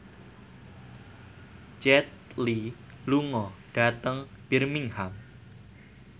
Jet Li lunga dhateng Birmingham